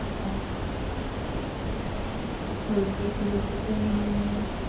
okay sir okay sir நீங்க